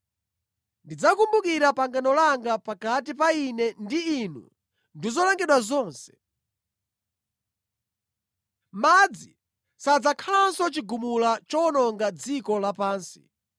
ndizikumbukira pangano langa pakati pa Ine ndi inu ndi zolengedwa zonse. Madzi sadzakhalanso chigumula chowononga dziko lapansi.